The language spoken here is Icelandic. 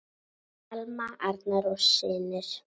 Alma, Arnar og synir.